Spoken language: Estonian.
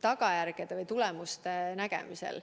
tagajärgede või tulemuste nägemisel.